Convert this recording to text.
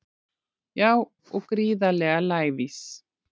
Já og gríðarlega lævís